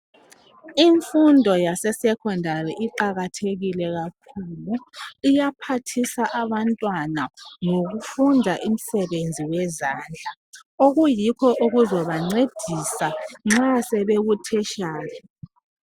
imfundo yase secondary iqhakathekile kakhulu iyaphathisa abantwana ngokufunda imisbenzi yezandla okuyiwoozabancedisa nxa sebeku teritiary